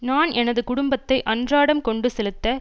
நான் எனது குடும்பத்தை அன்றாடம் கொண்டு செலுத்த